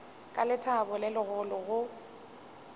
ka lethabo le legolo go